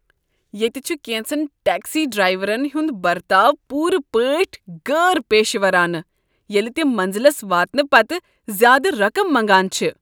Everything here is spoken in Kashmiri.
ییٚتہ چھُ کینژن ٹیکسی ڈرٛایورن ہنٛد برتاو چھ پوٗرٕ پٲٹھۍ غٲر پیشورانہٕ ییٚلہ تم منزلس واتنہٕ پتہٕ زیادٕ رقمٕ منٛگان چھ۔